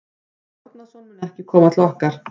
Kári Árnason mun ekki koma til okkar.